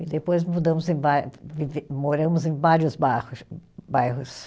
E depois mudamos em bai, vive moramos em vários barros, bairros.